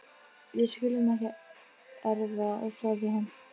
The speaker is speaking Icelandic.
Við skulum ekki erfa það við hann.